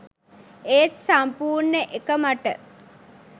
ඒත් සම්පූර්ණ එක මට